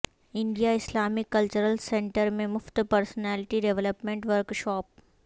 India Islamic cultural centre میں مفت personality development workshop